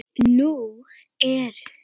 Nú eru